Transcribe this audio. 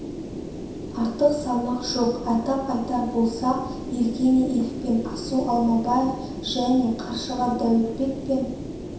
артық салмақ жоқ атап айтар болсақ евгений егембердиев пен асу алмабаев және қаршыға даутбек пен